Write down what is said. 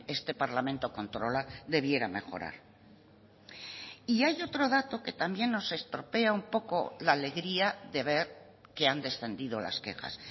este parlamento controla debiera mejorar y hay otro dato que también nos estropea un poco la alegría de ver que han descendido las quejas